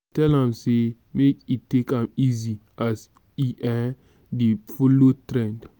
i tell am sey make e take am easy as e um dey folo trend.